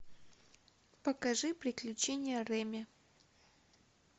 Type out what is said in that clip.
покажи приключения реми